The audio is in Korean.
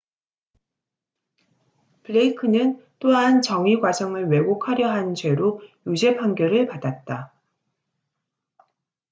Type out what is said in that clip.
블레이크는 또한 정의 과정을 왜곡하려 한 죄로 유죄판결을 받았다